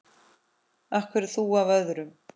Af hverju þú af öllum?